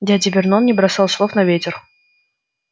дядя вернон не бросал слов на ветер